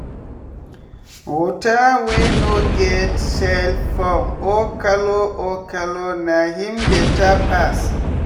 water wey no get smellfoam or colour or colour na him better pass.